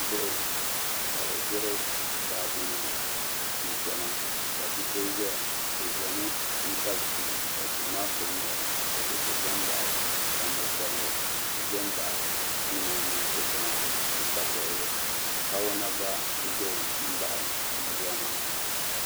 Bihi ka bɛ ʒiri baaji nima n chena ka bia so zaya bɛ zami n tabi duu ka duu maa pili mori ka tihi zambaɣi li ka mo'bobli zambaɣi duu maa mini cheche maa ni dabobili kawana gba ʒɛ m baɣi yiya maa.